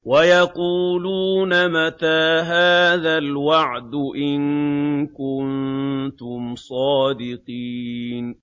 وَيَقُولُونَ مَتَىٰ هَٰذَا الْوَعْدُ إِن كُنتُمْ صَادِقِينَ